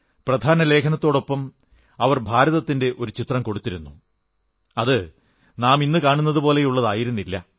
പ്രധാന ലേഖനത്തോടൊപ്പം അവർ ഭാരതത്തിന്റെ ഒരു ചിത്രം കൊടുത്തിരുന്നു അത് നാം ഇന്നു കാണുന്നതുപോലെയുള്ളതായിരുന്നില്ല